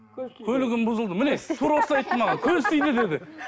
көлігім бұзылды міне тура осылай айтты маған көз тиді деді